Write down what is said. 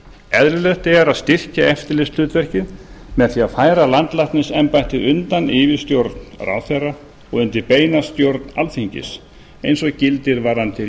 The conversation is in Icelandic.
eðlilegt er að styrkja eftirlitshlutverkið með því að færa landlæknisembættið undan yfirstjórn ráðherra og undir beina stjórn alþingis eins og gildir varðandi